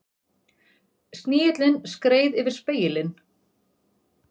Snigillinn skreið yfir spegilinn.